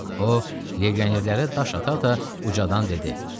O, legionerlərə daş ata-ata ucadan dedi: